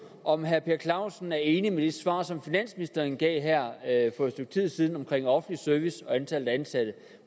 om herre per clausen er enig i det svar som finansministeren gav her for et stykke tid siden om offentlig service og antallet af ansatte